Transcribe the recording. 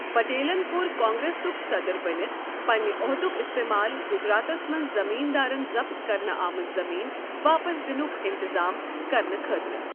پٹیلن کوٚر کانگریسُک صدر بَنِتھ بٔنتھ عہدک استعمال گجراتس منٛز زٔمیٖن دارن ضبط کرنہٕ آمٕژ زمیٖن واپس دِنُک انتطام کرنہٕ خٲطرٕ۔